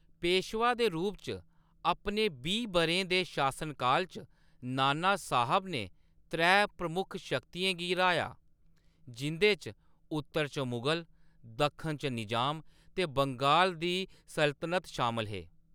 पेशवा दे रूप च अपने बीह्‌‌ बʼरें दे शासनकाल च, नानासाहेब ने त्रै प्रमुख शक्तियें गी राहया जिं'दे च-उत्तर च मुगल, दक्खन च निज़ाम ते बंगाल दी सल्तनत शामल हे।